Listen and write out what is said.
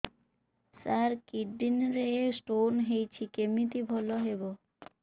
ସାର kidney ରେ stone ହେଇଛି କମିତି ଭଲ ହେବ